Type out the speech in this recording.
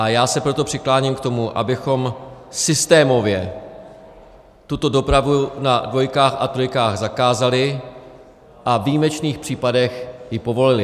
A já se proto přikláním k tomu, abychom systémově tuto dopravy na dvojkách a trojkách zakázali a ve výjimečných případech ji povolili.